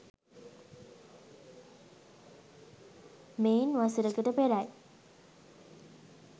මෙයින් වසරකට පෙරයි